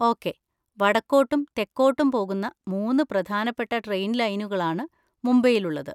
Okay, വടക്കോട്ടും തെക്കോട്ടും പോകുന്ന മൂന്ന് പ്രധാനപ്പെട്ട ട്രെയിൻ ലൈനുകളാണ് മുംബൈയിലുള്ളത്.